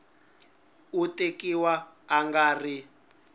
u tekiwa a nga ri